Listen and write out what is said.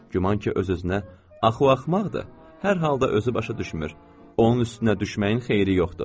Güman ki, öz-özünə: “Axı o axmaqdır, hər halda özü başa düşmür, onun üstünə düşməyin xeyri yoxdur”.